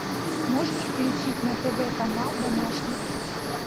можешь включить на тв канал домашний